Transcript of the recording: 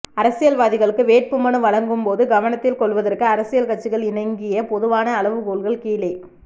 அரசியல் வாதிகளுக்கு வேட்புமனு வழங்கும் போது கவனத்தில் கொள்வதற்கு அரசியல் கட்சிகள் இணங்கிய பொதுவான அளவுகோல்கள் கீழே